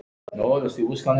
Ætlarðu ekki að svara mér?